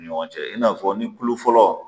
Ni ɲɔgɔn cɛ i n'a fɔ ni kulo fɔlɔ